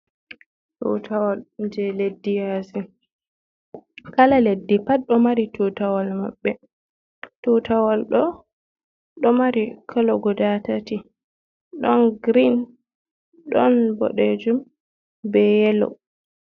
Tutawal je leddi yasi, kala leddi pat ɗo mari tutawol maɓɓe, tutawal ɗo ɗo mari kolo guda tati ɗon grin, ɗon boɗejum, be yelo.